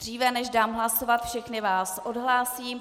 Dříve než dám hlasovat, všechny vás odhlásím.